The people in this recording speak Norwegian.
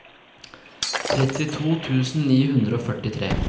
trettito tusen ni hundre og førtitre